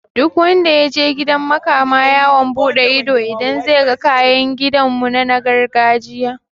Duk wanda yaje gidan makama yawon buɗe ido zai ga kayan kiɗan mu na gargajiya